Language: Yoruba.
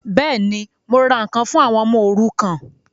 Bẹ́ẹ̀ni, mo ra ǹkan fún àwọn ọmọ òrukàn